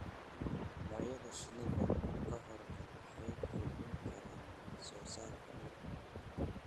Noocyada shinnida oo kordha waxay kordhin karaan wax soo saarka malabka.